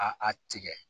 A a tigɛ